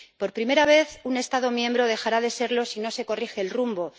Por primera vez, un Estado miembro dejará de serlo si no se corrige el rumbo.